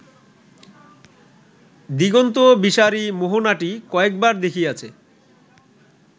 দিগন্তবিসারী মোহনাটি কয়েকবার দেখিয়াছে